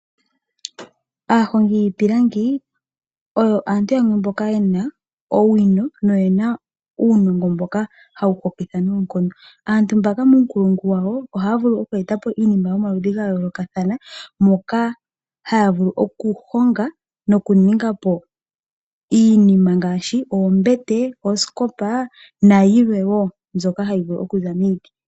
Aahongi yiipilangi oyo aantu yamwe mboka ye na owino noye na uunongo mboka hawu hokitha noonkondo. Aantu mbaka muunkulungu wawo ohaa vulu okweeta po iinima yomaludhi ga yoolokathana, moka haya vulu okuhonga noku ninga po iinima ngaashi: oombete, ooskopa na yilwe wo mbyoka hayi vulu okuza miiti.